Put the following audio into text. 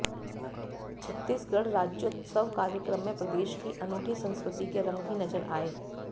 छत्तीसगढ़ राज्योत्सव कार्यक्रम में प्रदेश की अनूठी संस्कृति के रंग भी नजर आए